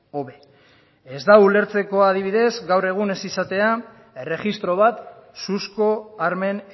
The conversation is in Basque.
hobe ez da ulertzekoa adibidez gaur egun ez izatea erregistro bat suzko armen